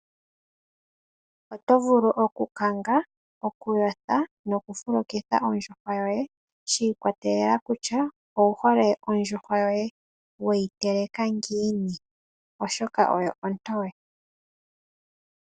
Oto vulu okukanga, okuyotha nokufulukitha ondjuhwa yoye shi ikwatelela kutya owu hole ondjuhwa yoye weyi teleka ngiini oshoka oyo ontoye.